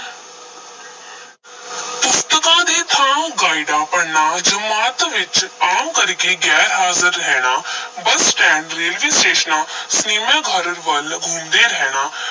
ਪੁਸਤਕਾਂ ਦੀ ਥਾਂ ਗਾਈਡਾਂ ਪੜ੍ਹਨਾ, ਜਮਾਤ ਵਿੱਚ ਆਮ ਕਰਕੇ ਗੈਰਹਾਜ਼ਰ ਰਹਿਣਾ ਬੱਸ-ਸਟੈਂਡ, ਰੇਲਵੇ-ਸਟੇਸ਼ਨਾਂ ਸਿਨੇਮਾ ਘਰ ਵੱਲ ਘੁੰਮਦੇ ਰਹਿਣਾ